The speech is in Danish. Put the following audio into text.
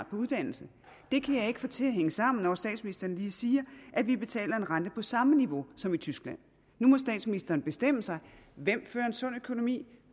på uddannelse det kan jeg ikke få til at hænge sammen når statsministeren lige siger at vi betaler en rente på samme niveau som i tyskland nu må statsministeren bestemme sig hvem har en sund økonomi og